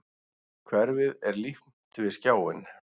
Hverfið er límt við skjáinn.